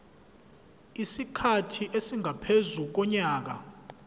isikhathi esingaphezu konyaka